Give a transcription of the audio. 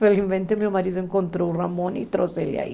Felizmente, meu marido encontrou o Ramon e trouxe ele aí.